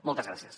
moltes gràcies